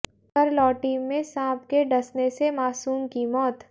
करलोटी में सांप के डसने से मासूम की मौत